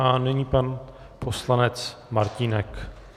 A nyní pan poslanec Martínek.